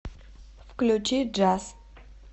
включи джаз